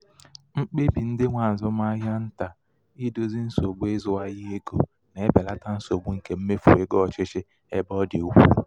mkpebi ndị nwe azụmahịa ntà idozi nsogbu idozi nsogbu ịzụ ahịa ego na-ebelata nsogbu nke mmefu ego ọchịchị ebe ọ dị ukwuu.